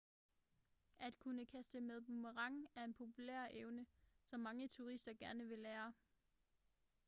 at kunne kaste med boomerang er en populær evne som mange turister gerne vil lære